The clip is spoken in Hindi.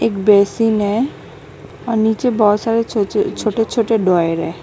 एक बेसिन है और नीचे बहुत सारे छोटे छोटे छोटे ड्रावर हैं।